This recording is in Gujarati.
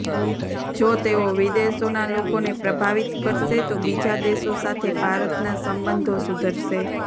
જો તેઓ વિદેશોના લોકોને પ્રભાવિત કરશે તો બીજા દેશો સાથે ભારતના સંબંધો સુધરશે